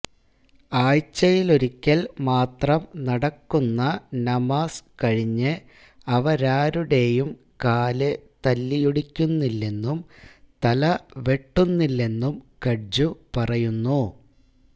ആഴ്ചയിലൊരിക്കൽ മാത്രം നടക്കുന്ന നമാസ് കഴിഞ്ഞ് അവരാരുടെയും കാല് തല്ലിയൊടിക്കുന്നില്ലെന്നും തല വെട്ടുന്നില്ലെന്നും കഡ്ജു പറയുന്നു